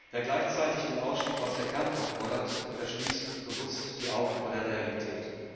Wer gleichzeitig den Ausstieg aus der Kernkraft fordert, verschließt bewusst die Augen vor der Realität.